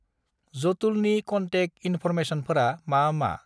जटुलनि contact इनफरमेसनफोरा मा मा?